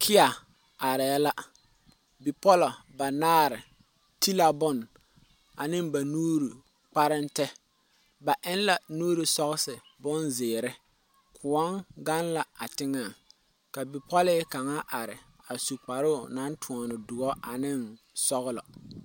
KIA are la, bipɔlɔ banaare ti la bon ane ba nuuri kpareŋtɛɛ ba eŋ la nuuri sɔsii bonzeɛre, koɔ gaŋ la teŋɛ ka bipɔle kaŋa are a su kparoo na tɔne dɔɔ a ane sɔglɔ.